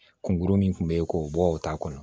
Kungurun min kun bɛ yen k'o bɔ o t'a kɔnɔ